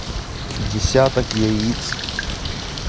десяток яиц